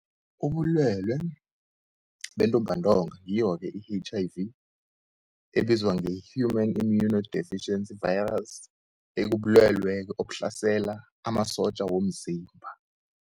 Ubulwelwe bentumbantonga ngiyo-ke i-H_I_V ebizwa nge-human immunodeficiency virus, ekubulwelwe-ke obuhlasela amasotja womzimba.